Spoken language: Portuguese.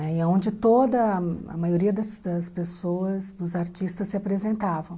E é onde toda a maioria das das pessoas, dos artistas, se apresentavam.